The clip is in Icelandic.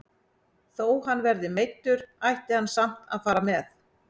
Þó hann verði meiddur ætti hann samt að fara með.